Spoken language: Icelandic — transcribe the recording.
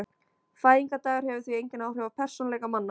Fæðingardagur hefur því engin áhrif á persónuleika manna.